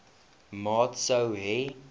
maat sou hê